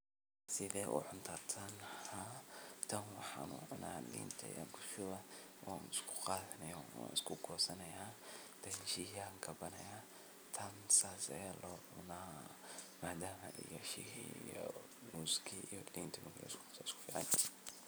Sithe u cunta tan? tan wxan u cuna linta ayan kushuba wan iskuqadanaya wan iskugosanaya kadip biyah an kabanaya tan sas aya locuna madama sharing iyoiyo muski iyo linta.